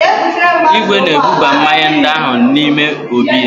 Igwe na-ebuba mmanya ndị ahụ n'ime obí ya.